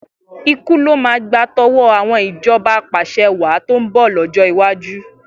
Ikú ló máa gba tọwọ́ àwọn ìjọba apàṣẹwàá tó ń bọ̀ lọ́jọ́ iwájú.